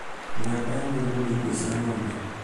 Mĩramba ya marigũ nĩ irio cia ng`ombe